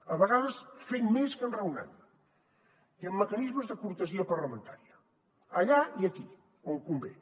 a vegades fent més que enraonant i amb mecanismes de cortesia parlamentària allà i aquí on convé